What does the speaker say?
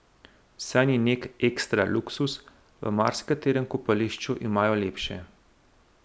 Saj ni nek ekstra luksuz, v marsikaterem kopališču imajo lepše.